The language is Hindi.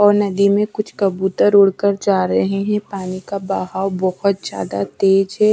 और नदी में कुछ कबूतर उड़कर जा रहे हैं पानी का बहाव बहुत ज्यादा तेज है।